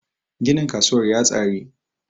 ginin kasuwar ya tsari!